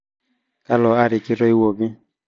kalo ari kitoiwuoki